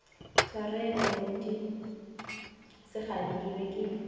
tshwarelo morutišigadi ke be ke